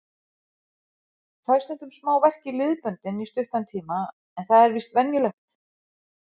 Fæ stundum smá verk í liðböndin í stuttan tíma en það er víst venjulegt.